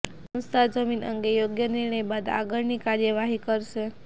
સંસ્થા જમીન અંગે યોગ્ય નિર્ણય બાદ આગળની કાર્યવાહી કરશે